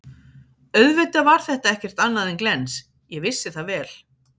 Auðvitað var þetta ekkert annað en glens, ég vissi það vel.